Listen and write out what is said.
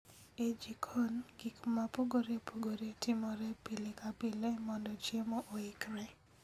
E jikon, gik mopogoreopogore timore pile ka pile mondo chiemo oikre